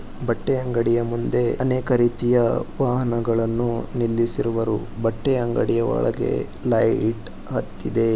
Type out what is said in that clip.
ಬಟ್ಟೆ ಅಂಗಡಿಯ ಚಿತ್ರವಾಗಿದೆ. ಬಟ್ಟೆ ಅಂಗಡಿಯ ಮುಂದೆ ಅನೇಕ ರೀತಿಯ ವಾಹನಗಳನ್ನು ನಿಲಿಸಿರುವರು ಬಟ್ಟೆ ಅಂಗಡಿಯ ಒಳಗೆ ಲೈಟ್ ಹತ್ತಿದೆ.